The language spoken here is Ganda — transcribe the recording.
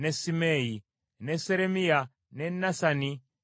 ne Seremiya, ne Nasani, ne Adaya,